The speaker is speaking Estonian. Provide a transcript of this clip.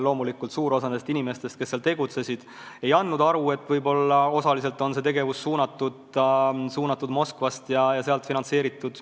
Loomulikult, suur osa nendest inimestest, kes sellal tegutsesid, ei andnud endale aru, et osaliselt oli see tegevus suunatud Moskvast ja sealt finantseeritud.